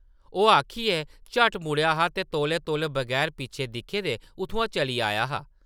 ओह् आखियै झट्ट मुड़ेआ हा ते तौले-तौले बगैर पिच्छें दिक्खे दे उत्थुआं चली आया हा ।